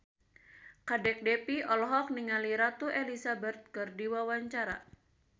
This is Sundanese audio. Kadek Devi olohok ningali Ratu Elizabeth keur diwawancara